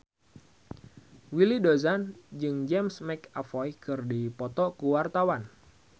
Willy Dozan jeung James McAvoy keur dipoto ku wartawan